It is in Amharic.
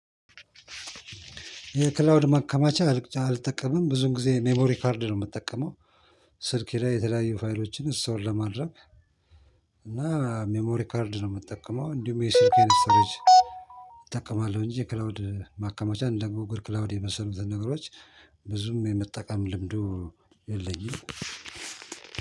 የክላውድ ማከማቻ አልጠቀምም፤ ብዙን ጊዜ ሜሞሪ ካርድ ነው ምጠቀመው፤ ስልኬ ላይ የተለያዩ ፋይሎችን እስቶር ለማድረግ። እና ሜሞሪ ካርድ ነው ምጠቀመው እንዲሁም የስልኬን እጠቀማለሁ እንጂ የክላውድ ማከማቻ እንደ ጉግል ክላውድ የመሳሰሉትን ነገሮች። ብዙም የመጠቀም ልምዱ የለኝም።